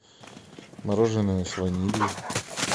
мороженое с ванилью